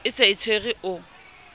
e se e tshwere o